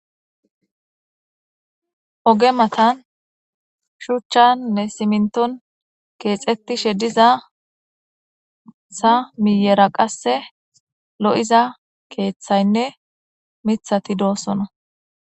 oge matan shuchchannne siminton keexetishe diza sa miyera qasse lo7iza keeththaynne mithati doosona